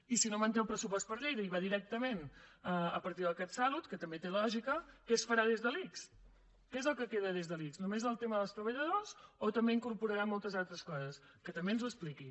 i si no manté el pressupost per a lleida i va directament a partir del catsalut que també té lògica què es farà des de l’ics què és el que queda des de l’ics només el tema dels treballadors o també incorporarà moltes altres coses que també ens ho expliqui